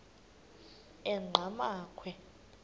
enqgamakhwe